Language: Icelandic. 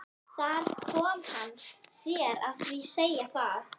Þar kom hann sér að því að segja það.